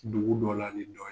Dugu dɔnna ni dɔ ye